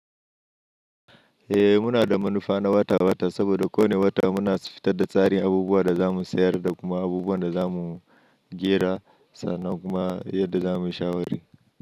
Eh muna da manufa na wata-wata saboda kowanne wata muna fitar da tsarin abubuwan da za mu sayar da kuma abubuwan da za mu jera sannan kuma yadda za mu yi shawara.